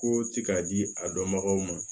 Ko ti k'a di a dɔnbagaw ma